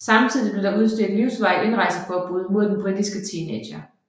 Samtidig blev der udstedt livsvarigt indrejseforbud mod den britiske teenager